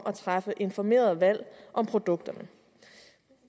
at træffe informerede valg om produkterne